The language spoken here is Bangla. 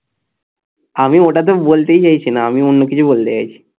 আমি ওটা তো বলতেই চাইছি না আমি অন্য কিছু বলতে চাইছি